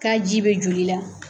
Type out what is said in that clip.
K'a ji bɛ joli la.